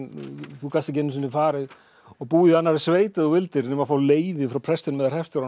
þú gast ekki einu sinni farið og búið í annarri sveit ef þú vildir nema fá leyfi frá prestinum eða